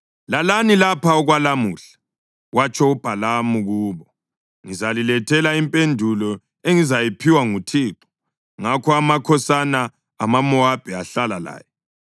“Lalani lapha okwalamuhla,” watsho uBhalamu kubo, “Ngizalilethela impendulo engizayiphiwa nguThixo.” Ngakho amakhosana amaMowabi ahlala laye.